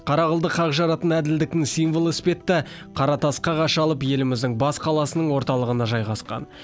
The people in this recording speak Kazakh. қара қылды қақ жаратын әділдіктің символы іспетті қара тасқа қашалып еліміздің бас қаласының орталығына жайғасқан